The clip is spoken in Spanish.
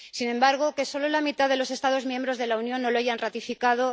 Sin embargo, que solo la mitad de los Estados miembros de la Unión lo hayan ratificado...